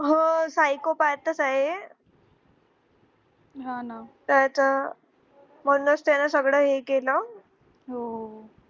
हो say so path च आहे त्याच म्हणुणच त्याने सगळं हे केल